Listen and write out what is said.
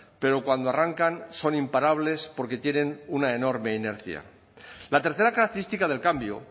pero cuando arrancan son imparables porque tienen una enorme inercia la tercera característica del cambio